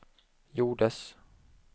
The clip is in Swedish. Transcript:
gjordes